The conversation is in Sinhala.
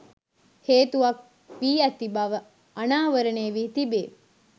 හේතුවක් වී ඇති බව අනාවරණය වී තිබේ